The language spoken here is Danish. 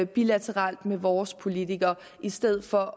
bilateralt med vores politikere i stedet for